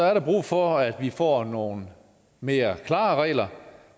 er der brug for at vi får nogle mere klare regler